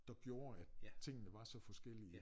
Der gjorde at tingene var så forskellige